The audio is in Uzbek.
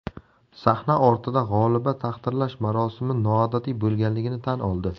Sahna ortida g‘oliba taqdirlash marosimi noodatiy bo‘lganligini tan oldi.